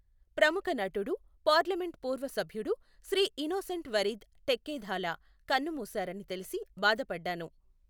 ప్రముఖ నటుడు, పార్లమెంట్ పూర్వ సభ్యుడు శ్రీ ఇనోసెంట్ వరీద్ ఠెక్కెథాలా కన్నుమూశారని తెలిసి బాధపడ్డాను.